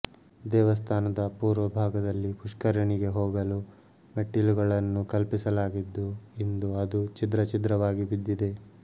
ದೇವಸ್ಥಾನದ ಪೂರ್ವಭಾಗದಲ್ಲಿ ಪುಷ್ಕರಣಿಗೆ ಹೋಗಲು ಮೆಟ್ಟಿಲುಗಳನ್ನು ಕಲ್ಪಿಸಲಾಗಿದ್ದು ಇಂದು ಅದು ಛಿದ್ರ ಛಿದ್ರವಾಗಿ ಬಿದ್ದಿದೆ